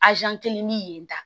kelen ni yen tan